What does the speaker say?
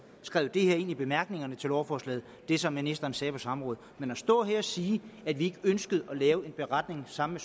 skrevet det her ind i bemærkningerne til lovforslaget det som ministeren sagde på samrådet men at stå her og sige at vi ikke ønskede at lave en beretning sammen